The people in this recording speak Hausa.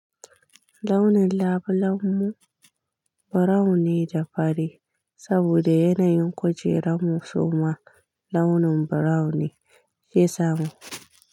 Launin labulen mu brown ne da fari, saboda yanayin kujerar mu suma launin brown ne ke samu.